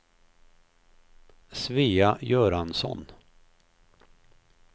Svea Göransson